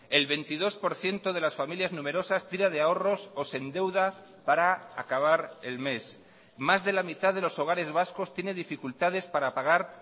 el veintidós por ciento de las familias numerosas tira de ahorros o se endeuda para acabar el mes más de la mitad de los hogares vascos tiene dificultades para pagar